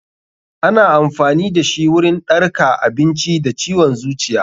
Ana amfani dashi wurin ɗarka abinci da ciwon zuciya.